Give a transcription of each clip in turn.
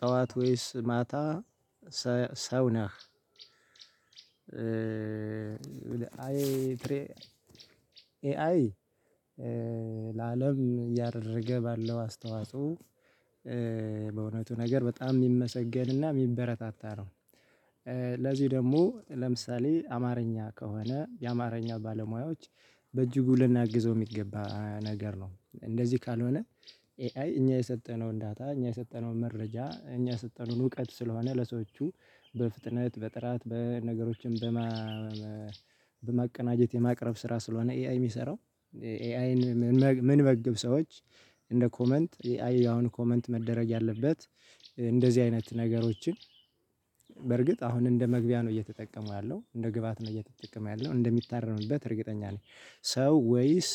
ጠዋት ወይስ ማታ? ሰ ሰው ነህ? አይ ፍሬ ኤአይ ለአለም እያደረገ ባለው አስተዋጽኦ በእውነቱ ነገር በጣም የሚመሰገንና የሚበረታታ ነው። ለዚህ ደግሞ ለምሳሌ አማርኛ ከሆነ የአማርኛ ባለሙያዎች በእጅጉ ልናግዘው የሚገባ ነገር ነው። እንደዚህ ካልሆነ ኤአይ እኛ የሰጠነውን ዳታ እኛ የሰጠነውን መረጃ እኛ የሰጠነውን እውቀት ስለሆነ ለሰዎቹ በፍጥነት በጥራት በነገሮችም በማ በማቀናጀት የማቅረብ ስራ ስለሆነ ኤአይ የሚሰራው ኤአይን ምንመግብ ሰዎች እንደ ኮመንት ኤአይ አሁን ኮመንት መደረግ ያለበት እንደዚህ አይነት ነገሮችን በርግጥ አሁን እንደ መግቢያ ነው እየተጠቀመው ያለው እንደ ግብአት ነው እየተጠቀመ ያለው እንደሚታረምበት እርግጠኛ ነኝ። ሰው ወይስ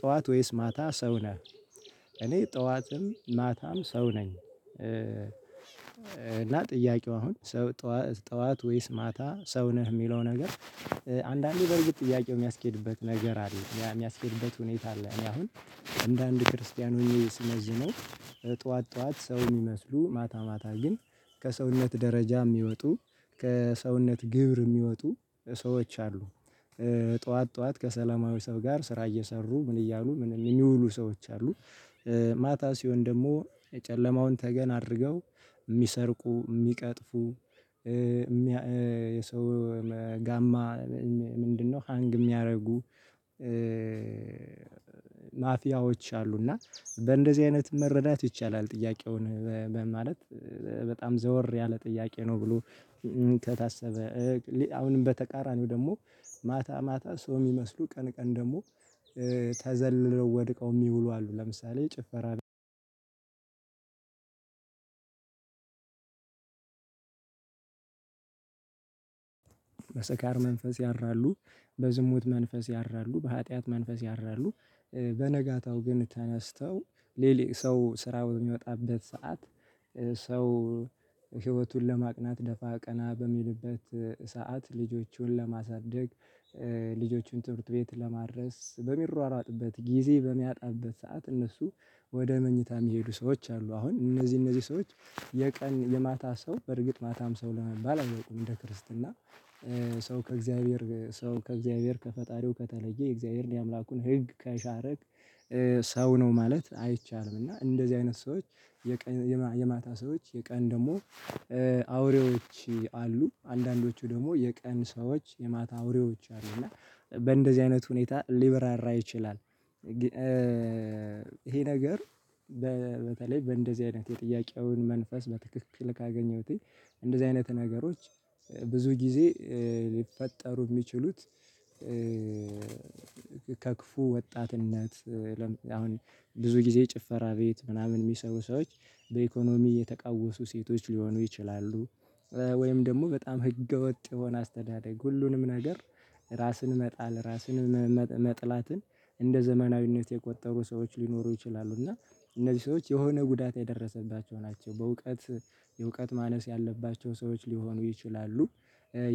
ጠዋት ወይስ ማታ ሰው ነህ? እኔ ጠዋትም ማታም ሰው ነኝ። እና ጥያቄው አሁን ሰው ጠዋ ጠዋት ወይስ ማታ ሰው ነህ የሚለው ነገር አንዳንዴ በርግጥ ጥያቄው የሚያስኬድበት ነገር አለ ሚያ የሚያስኬድበት ሁኔታ አለ እኔ አሁን አንዳንድ ክርስቲያን ሆኜ ስመዝነው ጠዋት ጠዋት ሰው የሚመስሉ ማታ ማታ ግን ከሰውነት ደረጃ የሚወጡ ከሰውነት ግብር የሚወጡ ሰዎች አሉ። ጠዋት ጠዋት ከሰለማዊ ሰው ጋር ስራ እየሰሩ ምን እያሉ ምን የሚውሉ ሰዎች አሉ። ማታ ሲሆን ደግሞ የጨለማውን ተገን አድርገው የሚሰርቁ የሚቀጥፉ የሰው ጋማ ምንድነው ሃንግ የሚያደርጉ ማፊያዎች አሉና በእንደዚህ አይነት መረዳት ይቻላል። ጥያቄውን ማለት በጣም ዘወር ያለ ጥያቄ ነው። ብሎ ከታሰበ አሁንም በተቃራኒው ደግሞ ማታ ማታ ሰው የሚመስሉ ቀን ቀን ደግሞ ተዘልለው ወድቀው የሚውሉ አሉ ለምሳሌ ጭፈራ መንፈስ ያድራሉ በዝሙት መንፈስ ያድራሉ በሀጥያት መንፈስ ያድራሉ። በነጋታው ግን ተነስተው ሌሊት ሰው ስራውን የሚወጣበት ሰዓት ሰው ህይወቱን ለማቅናት ደፋ ቀና በሚልበት ሰዓት ልጆቹን ለማሳደግ ልጆቹን ትምህርት ቤት ለማድረስ በሚሯሯጥበት ጊዜ በሚያጣበት ሰዓት እነሱ ወደ መኝታ የሚሄዱ ሰዎች አሉ። አሁን እነዚህ እነዚህ ሰዎች የቀን የማታ ሰው በርግጥ ማታም ሰው ለመባል አልበቁም። እንደ ክርስትና ሰው ከእግዚአብሔር ሰው ከእግዚአብሔር ከፈጣሪው ከተለየ የእግዚአብሔርን የአምላኩን ህግ ከሻረክ ሰው ነው ማለት አይቻልም። እና እንደዚህ አይነት ሰዎች የቀ የማታ ሰዎች የቀን ደግሞ አውሬዎች አሉ አንዳንዶቹ ደግሞ የቀን ሰዎች የማታ አውሬዎች አሉ እና በእንደዚህ አይነት ሁኔታ ሊበራራ ይችላል። ይሄ ነገር በተለይ በእንደዚህ አይነት የጥያቄውን መንፈስ በትክክል ካገኘሁትኝ እንደዚህ አይነት ነገሮች ብዙ ጊዜ ሊፈጠሩ የሚችሉት ከክፉ ወጣትነት ለም አሁን ብዙ ጊዜ ጭፈራ ቤት ምናምን የሚሰሩ ሰዎች በኢኮኖሚ የተቃወሱ ሴቶች ሊሆኑ ይችላሉ። ወይም ደግሞ በጣም ህገወጥ የሆነ አስተዳደግ ሁሉንም ነገር ራስን መጣል ራስን መጥላትን እንደ ዘመናዊነት የቆጠሩ ሰዎች ሊኖሩ ይችላሉ። እና እነዚህ ሰዎች የሆነ ጉዳት የደረሰባቸው ናቸው በእውቀት የእውቀት ማነስ ያለባቸው ሰዎች ሊሆኑ ይችላሉ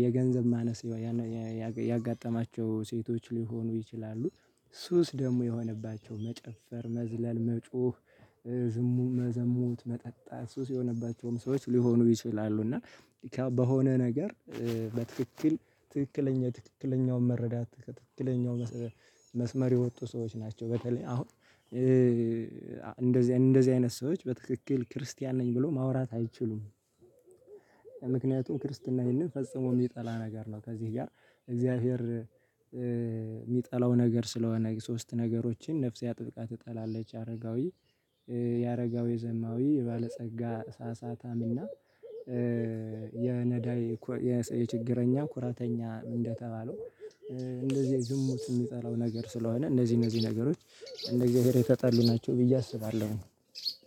የገንዘብ ማነስ ያጋጠማቸው ሴቶች ሊሆኑ ይችላሉ ሱስ ደግሞ የሆነባቸው መጨፈር መዝለል መጮህ ዝሙም መዘሙት መጠጣት ሱስ የሆነባቸውም ሰዎች ሊሆኑ ይችላሉ። እና በሆነ ነገር በትክክል ትክክለኛ ትክክለኛው መረዳት ትክክለኛው መስመር የወጡ ሰዎች ናቸው። በተለይ አሁን እንደዚህ እንደዚህ አይነት ሰዎች በትክክል ክርስቲያን ነኝ ብለው ማውራት አይችሉም። ምክንያቱም ክርስትና ይህንን ፈጽሞ የሚጠላ ነገር ነው። ከዚህ ጋር እግዚአብሔር የሚጠላው ነገር ስለሆነ ሶስት ነገሮችን ነፍሴ አጥብቃ ትጠላለች አረጋዊ የአረጋዊ ዘማዊ የባለጸጋ ሳሳታም እና የነዳይ የችግረኛ ኩራተኛ እንደተባለው እንደዚህ ዝሙት የሚጠላው ነገር ስለሆነ እነዚህ እነዚህ ነገሮች እንደ እግዚአብሔር የተጣሉ ናቸው። ብዬ አስባለሁ።